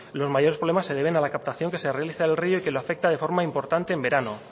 los mayores problemas se deben a la captación que se realiza al rio y que le afecta de forma importante en verano